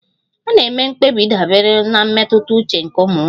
A na-eme mkpebi dabere na mmetụta uche nke ụmụ nwanyị.